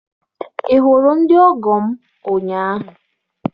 Ị hụrụ ndị ọgọ m ụnyaahụ?